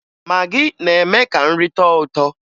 Magị na-eme ka nri tọọ ụtọ